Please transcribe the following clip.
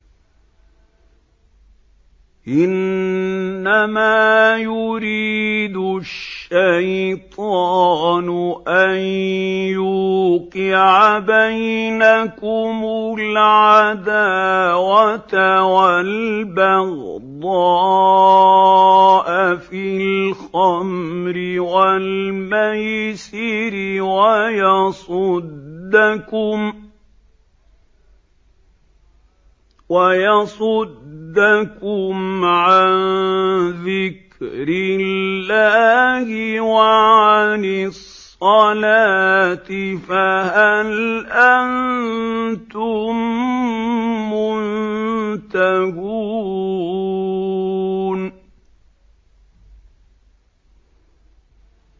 إِنَّمَا يُرِيدُ الشَّيْطَانُ أَن يُوقِعَ بَيْنَكُمُ الْعَدَاوَةَ وَالْبَغْضَاءَ فِي الْخَمْرِ وَالْمَيْسِرِ وَيَصُدَّكُمْ عَن ذِكْرِ اللَّهِ وَعَنِ الصَّلَاةِ ۖ فَهَلْ أَنتُم مُّنتَهُونَ